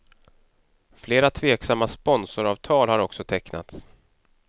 Flera tveksamma sponsoravtal har också tecknats.